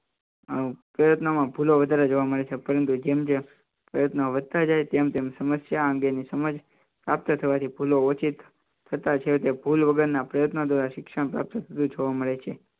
માં ભૂલો વધારે જોવા મળે છે પરંતુ જેમ જેમ પ્રયત્નો વધતા જાય તેમ તેમ સમસ્યા અંગેની સમજ પ્રાપ્ત થવાથી ભૂલો ઓછી થતા છે તે ભૂલ વગરના પ્રયત્નો દ્વારા શિક્ષણ જોવા મળે છે